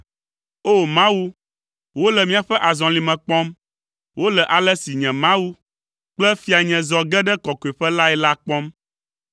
O! Mawu, wole míaƒe azɔlime kpɔm, wole ale si nye Mawu kple fianye zɔ ge ɖe kɔkɔeƒe lae la kpɔm.